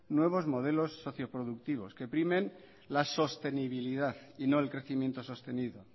nuevos modelos socio productivos que primen la sostenibilidad y no el crecimiento sostenido